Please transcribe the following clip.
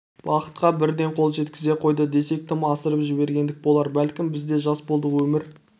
бақытқа бірден қол жеткізе қойды десек тым асырып жібергендік болар бәлкім біз де жас болдық өмір